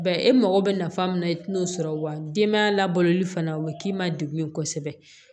e mago bɛ nafa min na i tɛ n'o sɔrɔ wa denbaya labɔloli fana u bɛ k'i ma degun ye kosɛbɛ